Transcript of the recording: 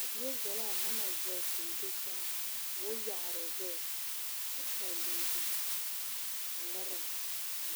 a bie zɛlɛɛ a hama zege koo do saa koo yaaroo gbɛɛ kyɛ paloo zu a ngmara a kubo.